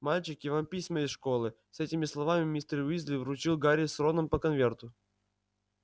мальчики вам письма из школы с этими словами мистер уизли вручил гарри с роном по конверту